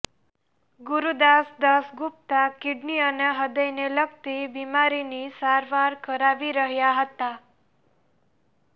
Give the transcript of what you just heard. Gurudas Dasgupta kidney અને હૃદયને લગતી બિમારીની સારવાર કરાવી રહ્યા હતા